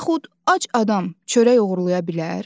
Yaxud ac adam çörək oğurlaya bilər?